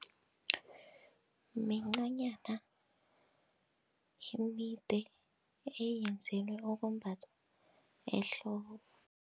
Mincanyana emide eyenzelwe ukumbathwa ehloko.